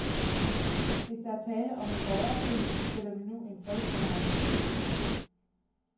Hvis der er tale om en borgerkrig, sætter vi nu en fredsbevarende styrke ind.